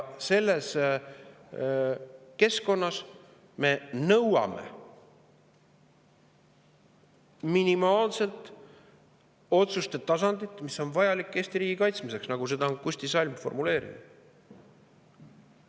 Selles keskkonnas me nõuame minimaalset otsuste tasandit, mis on vajalik Eesti riigi kaitsmiseks, nagu Kusti Salm on selle formuleerinud.